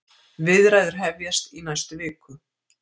Viðræður hefjast í næstu viku